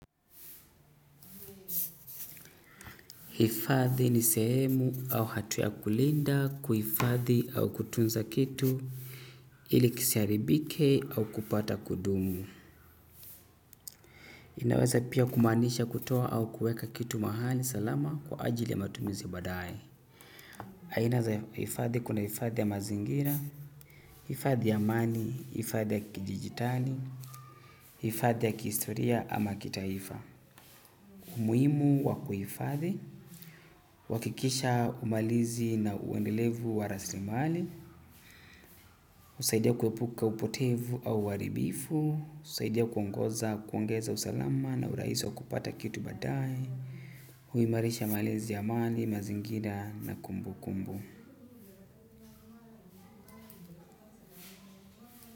Ifadhi ni sehemu au hatua ya kulinda kuifadhi au kutunza kitu ili kisaribike au kupata kudumu. Inaweza pia kumanisha kutoa au kuweka kitu mahali salama kwa ajili ya matumizi badae. Aina za hifadhi kuna hifadhi ya mazingira, hifadhi ya amani, hifadhi ya kidigitali, hifadhi ya kihistoria ama kitaifa. Umuhimu wakuhifadhi, uwakikisha umalizi na uendelevu waraslimali. Usaidia kuepuka upotevu au uwaribifu. Usaidia kuongoza kuongeza usalama na urahisi wa kupata kitu badae. Huimarisha malezi ya mali, mazingira na kumbu kumbu.